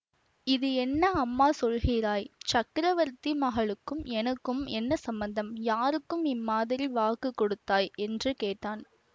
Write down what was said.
இது என்ன அம்மா சொல்கிறாய் சக்கரவர்த்தி மகளுக்கும் எனக்கும் என்ன சம்பந்தம் யாருக்கு இம்மாதிரி வாக்கு கொடுத்தாய் என்று கேட்டான்